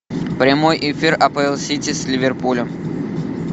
прямой эфир апл сити с ливерпулем